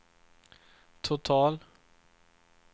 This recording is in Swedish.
total